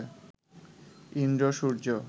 Indra, Surya